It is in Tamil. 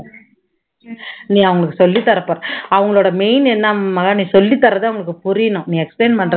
நீ அவங்களுக்கு சொல்லித்தர்ற பாரு அவங்களோட main என்ன மகா நீ சொல்லித்தர்றது அவங்களுக்கு புரியணும் நீ explain பண்றது